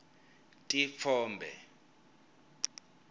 titfombe